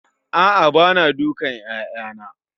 A'a bana dukan 'ya'yana